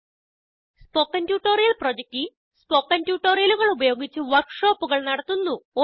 spoken tutorial project team spoken ട്യൂട്ടോറിയലുകൾ ഉപയോഗിച്ച് വർക്ക് ഷോപ്പുകൾ നടത്തുന്നു